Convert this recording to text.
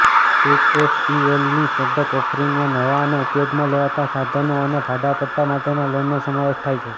એસઈએફએલની product ઓફરિંગમાં નવા અને ઉપયોગમાં લેવાતા સાધનો અને ભાડાપટ્ટા માટેના લોનનો સમાવેશ થાય છે